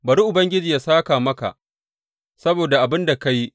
Bari Ubangiji yă sāka maka saboda abin da ka yi.